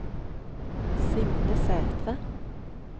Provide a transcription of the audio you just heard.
Signe Sæthre